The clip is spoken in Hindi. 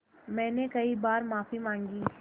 मैंने कई बार माफ़ी माँगी